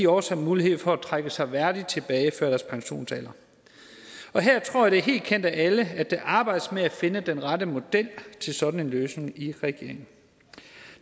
også har mulighed for at trække sig værdigt tilbage før deres pensionsalder og her tror jeg det er helt kendt af alle at der arbejdes med at finde den rette model til sådan en løsning i regeringen